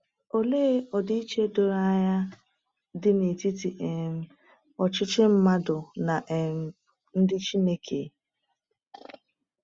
Olee ọdịiche doro anya dị n’etiti um ọchịchị mmadụ na um nke Chineke!